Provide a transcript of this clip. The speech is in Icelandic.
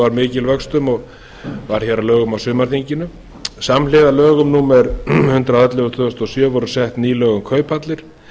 var mikil að vöxtum og varð hér að lögum á sumarþinginu samhliða lögum númer hundrað og ellefu tvö þúsund og sjö voru sett ný lög um kauphallir